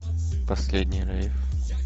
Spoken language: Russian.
последний рейв